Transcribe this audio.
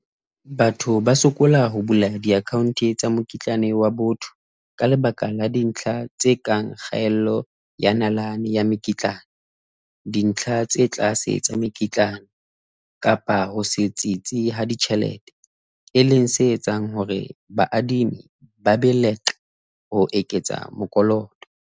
Batho ba sokola ho bula di-account tsa mokitlane wa botho ka lebaka la dintlha tse kang kgaello ya nalane ya mekitlane. Dintlha tse tlase tsa mekitlane kapa ho se tsitsi ha ditjhelete, e leng se etsang hore baadimi ba be leqe ho eketsa mokoloto.